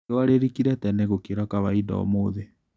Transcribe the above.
Riũa rĩrikĩire tene gũkĩra kawainda ũmũthĩ.